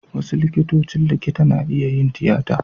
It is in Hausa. Wasu likitocin likita na iya yin tiyata.